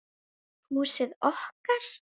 Húsið okkar.